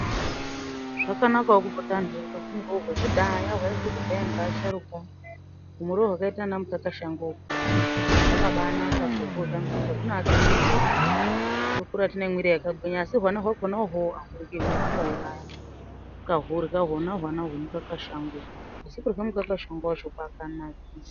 Zvakanakawo kupota anhu eirya zvairyiwa ngeasharuka ekudhaya humuriyo hwakaite kunga mukakashango uhu ,hwakabaanaka kuhurya ngekuti hunoake mwiri yedu tokura tinemwiri yakagwinya asi hwana hwakona ahuryiwi hunouraya ,ukahurya hona hwana hwakona ,asi kurye mukakashango wacho kwakanakisa .